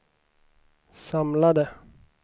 samlade